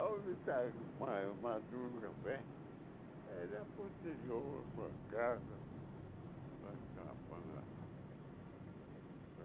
Aonde está ma maduro o café, ele a para o interior, para casa, cabana.